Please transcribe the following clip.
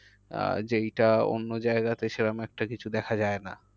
আহ যেইটা অন্য জায়গায়তে সে রকম একটা কিছু দেখা যায় না।